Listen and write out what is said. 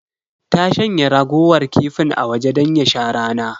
Ta shanya raguwar kifin a waje don ya sha rana.